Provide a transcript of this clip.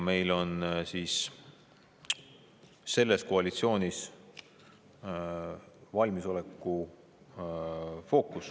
Meil on selles koalitsioonis fookus valmisolekul.